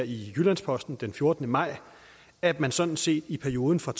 i jyllands posten den fjortende maj at man sådan set i perioden fra